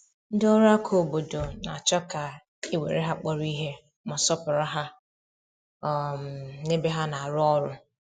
Ndị ọrụ aka obodo na-achọ ka e were ha kpọrọ ihe, ma sọọpụrụ ha um n’ebe ha na-arụ ọrụ. um